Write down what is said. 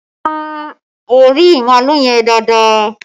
Sun orí màálù yẹn dáadáa!